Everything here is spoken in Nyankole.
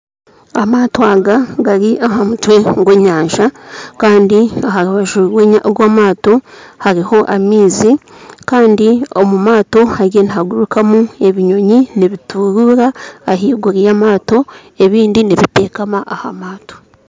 Amaato aga gari aha mutwe gw'enyanja kandi aharubaju rwa eryato hariho amaizi kandi omu maato hariyo nihagurukamu ebinyonyi nibituruura aha iguru y'amato ebindi nibitekama aha maato